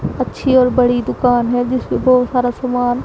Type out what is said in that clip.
अच्छी और बड़ी दुकान है जिसपे बहुत सारा सामान--